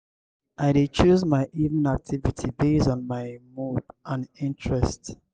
i dey choose my evening activity base on my mood and interest.